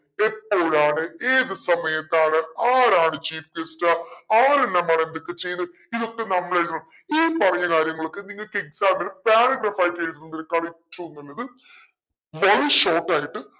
എപ്പോഴാണ് ഏത് സമയത്താണ് ആരാണ് chief guest ആരെല്ലാമാണ് എന്തൊക്കെ ചെയ്യുന്നേ ഇതൊക്കെ നമ്മളെഴുതും ഈ പറയുന്ന കാര്യങ്ങളൊക്കെ നിങ്ങക് exam ന് paragraph ആയിറ്റ്‌ എഴുതുന്നത് കവിച്ചെഴുതുന്നത് വളരെ short ആയിട്ട്